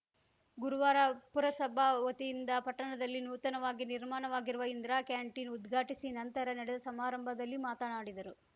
ಗುರುವಾರ ಪುರಸಭಾ ವತಿಯಿಂದ ಪಟ್ಟಣದಲ್ಲಿ ನೂತನವಾಗಿ ನಿರ್ಮಾಣವಾಗಿರುವ ಇಂದಿರಾ ಕ್ಯಾಂಟೀನ್‌ ಉದ್ಘಾಟಿಸಿ ನಂತರ ನಡೆದ ಸಮಾರಂಭದಲ್ಲಿ ಮಾತನಾಡಿದರು